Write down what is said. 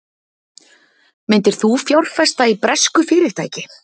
Myndir þú fjárfesta í bresku fyrirtæki?